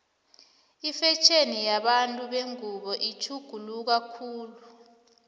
ifetjheni yabantu bengubo itjhuguluka khulu